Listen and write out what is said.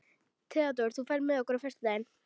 Theódór, ferð þú með okkur á föstudaginn?